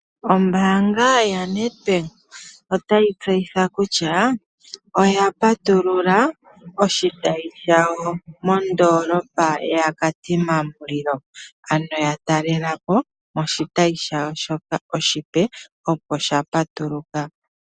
Ombaanga yaNEDBANK otayi tseyitha kutya oya patulula oshitayi shawo oshipe moKatima Mulilo, ano ya talela po moshitayi shawo oshipe opo sha patuluka.